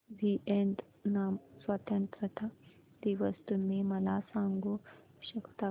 Vietnam स्वतंत्रता दिवस तुम्ही मला सांगू शकता का